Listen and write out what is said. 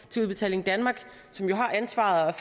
til udbetaling danmark som jo har ansvaret